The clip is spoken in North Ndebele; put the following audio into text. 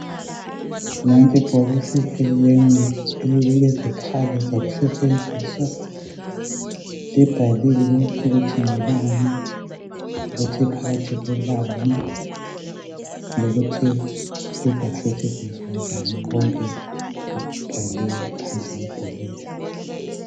Nanti ibhokisi elilemi elilezikhali zokusetshenziswa. Libhaliwe ukuthi ngelani lokuthi phakathi kulani lokuthi kuzasetshenziswa njani. Konke kubhaliwe phandle kwebhokisi.